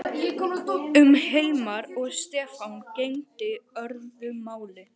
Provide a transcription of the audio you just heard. Um Hilmar og Stefán gegndi öðru máli.